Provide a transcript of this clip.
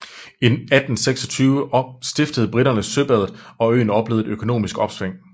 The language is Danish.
I 1826 stiftede briterne søbadet og øen oplevede et økonomisk opsving